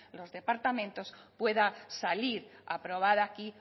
los departamentos pueda salir aprobada aquí